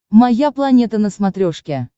моя планета на смотрешке